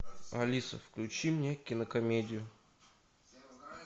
алиса включи мне кинокомедию